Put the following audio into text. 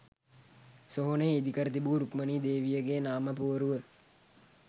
සොහොනේ ඉදිකර තිබූ රුක්මණී දේවියගේ නාමපුවරුව